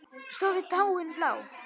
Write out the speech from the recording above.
Stóra táin blá.